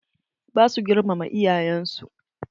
Ba su girmama iyayen su.